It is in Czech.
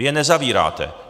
Vy je nezavíráte.